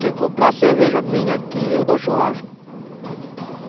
Quem comprar cerveja minha aqui, eu dou churrasco.